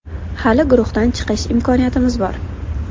Hali guruhdan chiqish imkoniyatimiz bor.